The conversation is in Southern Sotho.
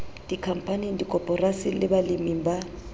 dikhampaning dikoporasing le baleming ba